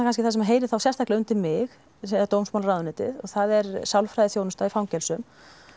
það sem heyrir þá kannski sérstaklega undir mig dómsmálaráðuneytið það er sálfræðiþjónusta í fangelsum